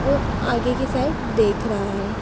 एक आगे की साइड देख रहा है।